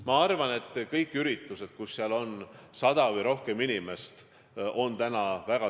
Ma arvan, et kõik üritused, kus osaleb sada või rohkem inimest, tuleks ära jätta.